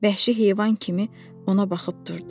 Vəhşi heyvan kimi ona baxıb durdu.